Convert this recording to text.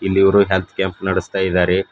ಇಲ್ಲಿ ಇವರು health camp ನಡಸ್ತಾ ಇದಾರೆ.